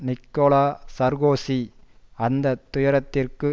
Nicolas Sarkozy அந்த துயரத்திற்கு